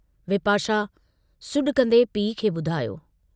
विपाशा सुडकंदे पीउ खे बुधायो।